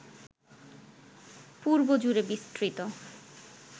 পূর্ব জুড়ে বিস্তৃত